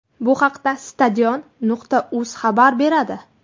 Bu haqda Stadion.uz xabar beradi .